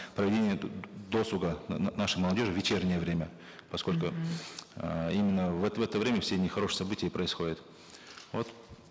проведение досуга нашей молодежи в вечернее время поскольку эээ именно вот в это время все нехорошие события и происходят вот